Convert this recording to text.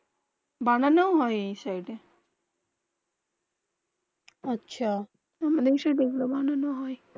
বানাও হয়ে এই সাইড. আচ্ছা আমরা এই সাইড. বানানো হয়ে